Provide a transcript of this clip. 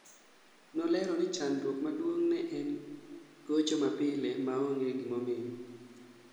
Nolero ni chandruok maduong' ne en gocho mapile ma onge gimomiyo